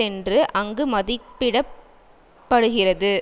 என்று அங்கு மதிப்பிட படுகிறது